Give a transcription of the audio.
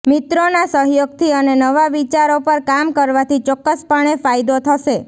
મિત્રોના સહયોગથી અને નવા વિચારો પર કામ કરવાથી ચોક્કસપણે ફાયદો થશે